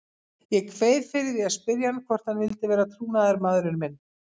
Ég kveið fyrir að spyrja hann hvort hann vildi vera trúnaðarmaðurinn minn.